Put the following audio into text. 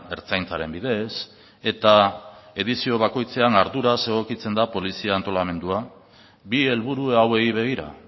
ertzaintzaren bidez eta edizio bakoitzean arduraz egokitzen da polizia antolamendua bi helburu hauei begira